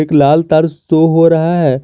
एक लाल तार शो हो रहा है।